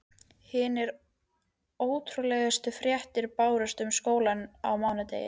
Hinar ótrúlegustu fréttir bárust um skólann á mánudegi.